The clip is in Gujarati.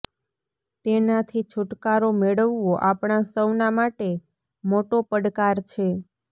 તેનાથી છુટકારો મેળવવો આપણા સૌના માટે મોટો પડકાર છે